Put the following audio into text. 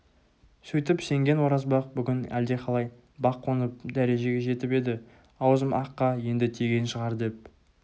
сөйтіп сенген оразбақ бүгін әлдеқалай бақ қонып дәрежеге жетіп еді аузым аққа енді тиген шығар деп